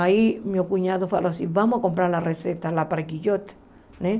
Aí meu cunhado falou assim, vamos comprar a receita lá para Quijote né.